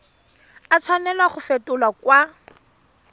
a tshwanela go fetolwa kwa